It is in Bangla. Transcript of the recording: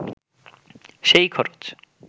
সেই খরচ